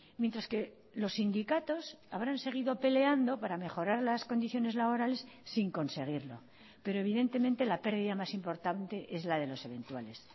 mientras que los sindicatos habrán seguido peleando para mejorar las condiciones laborales sin conseguirlo pero evidentemente la pérdida más importante es la de los eventuales